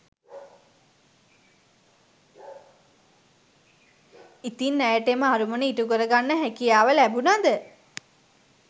ඉතින් ඇයට එම අරමුණ ඉ‍ටුකරගන්න හැකියාව ලැබුණද